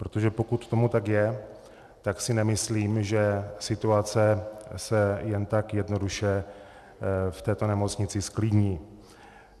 Protože pokud tomu tak je, tak si nemyslím, že situace se jen tak jednoduše v této nemocnici zklidní.